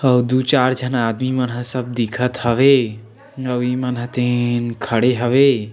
आऊ दू चार झन आदमी मन ह सब दिखत हवे और इ मन तीन खड़े हवे।